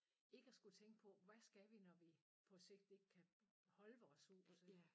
Ikke at skulle tænke på hvad skal vi når vi på sigt ikke kan holde vores hus